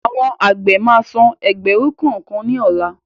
Àwọn àgbẹ̀ máa san ẹgbẹ̀rún kọ̀ọ̀kan ni ọ̀la